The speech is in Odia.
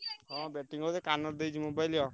ହଁ batting କରୁଥିଲି କାନରେ ଦେଇଛି mobile।